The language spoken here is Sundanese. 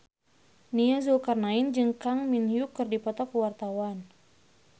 Nia Zulkarnaen jeung Kang Min Hyuk keur dipoto ku wartawan